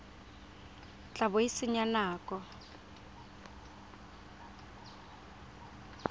tla bo o senya nako